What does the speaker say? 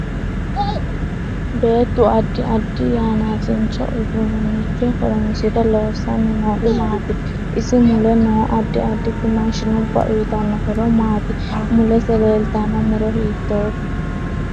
Beetu addi addi yanaasincho uduunicho horoonsire loosanni noori maati isi mule noo addi additi maashinubba uyiitanno horo maati mulesi leeltanno muro hiitoote